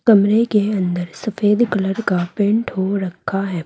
कमरे के अंदर सफेद कलर का पेंट हो रखा है।